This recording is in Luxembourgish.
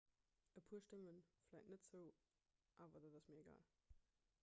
e puer stëmme vläicht net zou awer dat ass mir egal